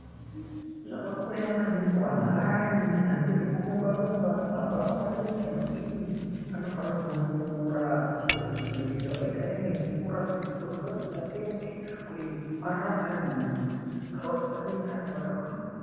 Zvakakosha maningi kuanhu ayani anoite zvekurumba rumba anohamba hamba maningi anodini anofanire kumwe mvura kuswera kuti mwiri yawo igare inemvura kuti misoro dzawo dzisateme kuti arambe arimunharaunda arambe akagwinya.